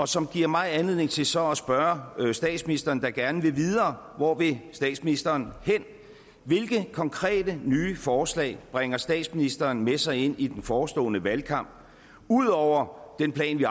som giver mig anledning til så at spørge statsministeren der gerne vil videre hvor vil statsministeren hen hvilke konkrete nye forslag bringer statsministeren med sig ind i den forestående valgkamp udover den plan vi